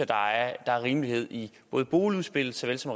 der er rimelighed i boligudspillet såvel som